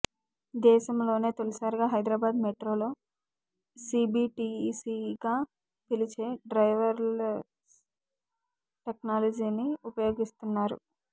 దేశంలోనే తొలిసారిగా హైదరాబాద్ మెట్రోలో సీబీటీసీగా పిలిచే డ్రైవర్లెస్ టెక్నాలజీని ఉపయోగిస్తున్నారు